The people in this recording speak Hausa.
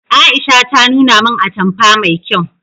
Aisha ta nuna min atamfa mai kyau